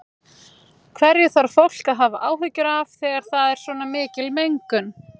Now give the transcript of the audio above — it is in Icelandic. Hverju þarf fólk að hafa áhyggjur af þegar það er svona mikil mengun?